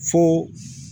Fo